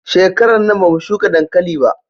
Shekarar nan ba mu shuka dankali ba